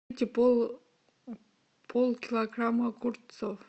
полкилограмма огурцов